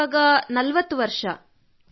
ನನ್ನ ವಯಸ್ಸು 40 ವರ್ಷ